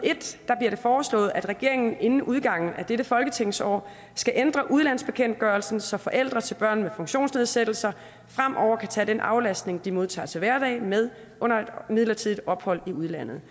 og det foreslået at regeringen inden udgangen af dette folketingsår skal ændre udlandsbekendtgørelsen så forældre til børn med funktionsnedsættelse fremover kan tage den aflastning de modtager til hverdag med under et midlertidigt ophold i udlandet